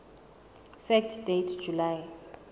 fact date july